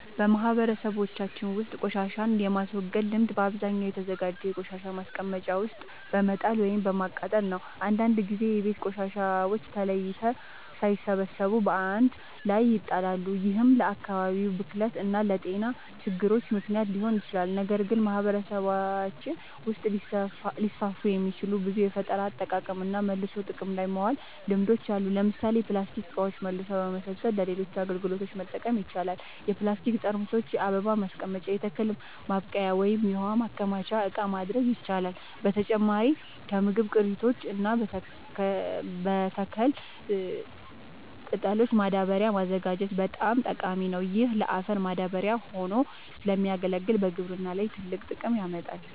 በማህበረሰባችን ውስጥ ቆሻሻን የማስወገድ ልምድ በአብዛኛው በተዘጋጀ የቆሻሻ ማስቀመጫ ውስጥ በመጣል ወይም በማቃጠል ነው። አንዳንድ ጊዜ የቤት ቆሻሻዎች ተለይተው ሳይሰበሰቡ በአንድ ላይ ይጣላሉ፤ ይህም ለአካባቢ ብክለት እና ለጤና ችግሮች ምክንያት ሊሆን ይችላል። ነገር ግን በማህበረሰባችን ውስጥ ሊስፋፉ የሚችሉ ብዙ የፈጠራ አጠቃቀምና መልሶ ጥቅም ላይ ማዋል ልምዶች አሉ። ለምሳሌ ፕላስቲክ እቃዎችን መልሶ በመሰብሰብ ለሌሎች አገልግሎቶች መጠቀም ይቻላል። የፕላስቲክ ጠርሙሶችን የአበባ ማስቀመጫ፣ የተክል ማብቀያ ወይም የውሃ ማከማቻ እቃ ማድረግ ይቻላል። በተጨማሪም ከምግብ ቅሪቶች እና ከተክል ቅጠሎች ማዳበሪያ ማዘጋጀት በጣም ጠቃሚ ነው። ይህ ለአፈር ማዳበሪያ ሆኖ ስለሚያገለግል በግብርና ላይ ትልቅ ጥቅም ያመጣል።